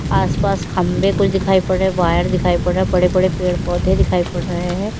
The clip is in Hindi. आस पास खंबे कुछ दिखाई पड़ रहे वायर दिखाई पड़ रहे बड़े बड़े पेड़ पौधे दिखाई पड़ रहे हैं।